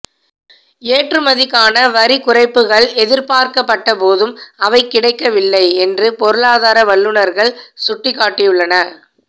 ஏற்றுமதிக்கான வரிக் குறைப்புக்கள் எதிர்பார்க்கப்பட்ட போதும் அவை கிடைக்கவில்லை என்று பொருளாதார வல்லுநர்கள் சுட்டிக்காட்டியுள்ளன